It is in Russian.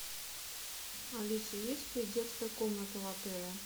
алиса есть ли детская комната в отеле